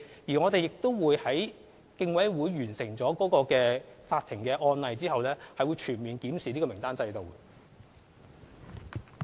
而在有關案件的法律程序完成後，我們會全面檢視參考名單制度。